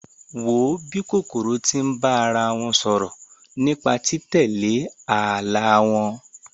Wo bí kòkòrò tí ń bá ara wọn sọ̀rọ̀ nípa tí títẹ̀lé ààlà wọn!